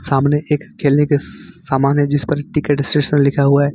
सामने एक केले के सामान है जिस पर टिकट स्टेशन लिखा हुआ है।